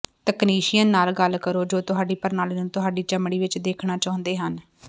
technician ਨਾਲ ਗੱਲ ਕਰੋ ਜੋ ਤੁਹਾਡੀ ਪ੍ਰਣਾਲੀ ਨੂੰ ਤੁਹਾਡੀ ਚਮੜੀ ਵਿੱਚ ਦੇਖਣਾ ਚਾਹੁੰਦੇ ਹਨ